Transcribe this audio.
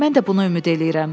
Mən də buna ümid eləyirəm.